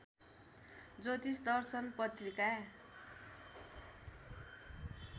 ज्योतिष दर्शन पत्रिका